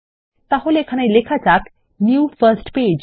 তাহলে এখানে লেখা যাক নিউ ফার্স্ট পেজ